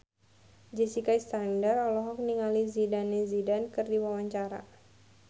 Jessica Iskandar olohok ningali Zidane Zidane keur diwawancara